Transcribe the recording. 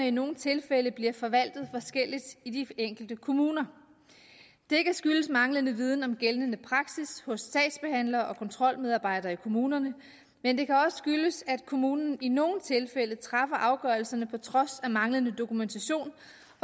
i nogle tilfælde bliver forvaltet forskelligt i de enkelte kommuner det kan skyldes manglende viden om gældende praksis hos sagsbehandlere og kontrolmedarbejdere i kommunerne men det kan også skyldes at kommunen i nogle tilfælde træffer afgørelserne på trods af manglende dokumentation